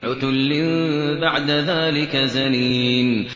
عُتُلٍّ بَعْدَ ذَٰلِكَ زَنِيمٍ